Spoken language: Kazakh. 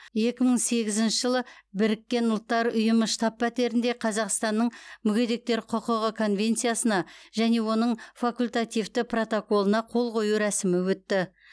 екі мың сегізінші жылы біріккен ұлттар ұйымы штаб пәтерінде қазақстанның мүгедектер құқығы конвенциясына және оның факультативті протоколына қол қою рәсімі өтті